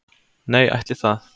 Nei ætli það.